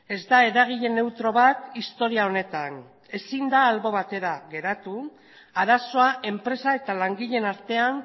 ez da eragile neutro bat historia honetan ezin da albo batera geratu arazoa enpresa eta langileen artean